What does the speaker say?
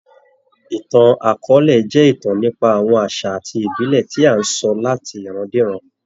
Ìtàn akọọ́lẹ̀ jẹ́ ìtàn nípa àwọn àṣà àti ìbílè tí à ńsọ láti ìrandíran.